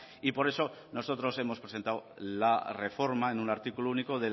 y por eso nosotros hemos presentado la reforma en un artículo único